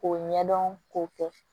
K'o ɲɛdɔn k'o kɛ